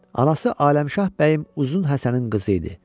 Anası Aləmşah Bəyim uzun Həsənin qızı idi.